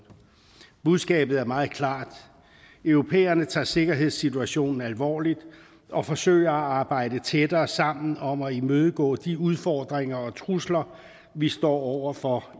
budskabet er meget klart europæerne tager sikkerhedssituationen alvorligt og forsøger at arbejde tættere sammen om at imødegå de udfordringer og trusler vi står over for